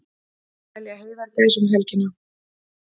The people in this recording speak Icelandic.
Telja heiðagæs um helgina